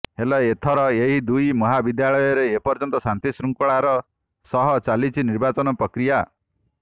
ହେଲେ ଏଥର ଏହି ଦୁଇ ମହାବିଦ୍ୟାଳୟରେ ଏପର୍ଯ୍ୟନ୍ତ ଶାନ୍ତି ଶୃଙ୍ଖଳାର ସହ ଚାଲିଛି ନିର୍ବାଚନ ପ୍ରକ୍ରିୟା